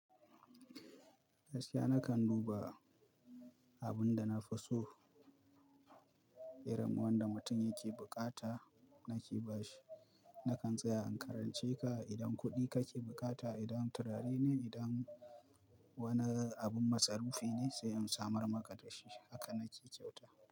Yarsiya nakan duba abun da na fi so, irin wanda mutum yake bukata, nake ba shi. Nakan tsaya in karance ka idan kuɗi kake bukata, idan turare ne, idan wani abun matsarufe ne sai in samar maka da shi. Haka nake kyauta.